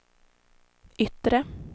yttre